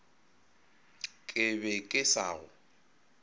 ke be ke sa go